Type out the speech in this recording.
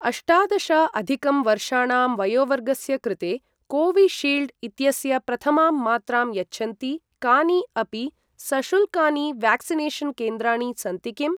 अष्टादश अधिकं वर्षाणां वयोवर्गस्य कृते कोविशील्ड् इत्यस्य प्रथमां मात्रां यच्छन्ति कानि अपि सशुल्कानि व्याक्सिनेषन् केन्द्राणि सन्ति किम्?